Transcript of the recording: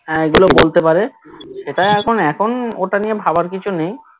হ্যাঁ এইগুলো বলতে পারে সেটাই এখন এখন ওটা নিয়ে ভাবার কিছু নেই